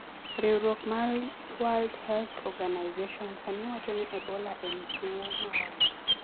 Riwruok mar World Health Organization (WHO) sani wacho ni Ebola en tuwo maonge.